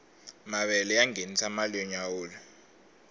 mavele ya ngenisa mali yo nyawula